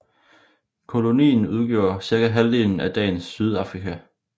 Kolonien udgjorde cirka halvdelen af dagens Sydafrika